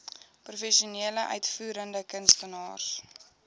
professionele uitvoerende kunstenaars